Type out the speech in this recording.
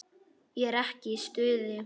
Ég er ekki í stuði.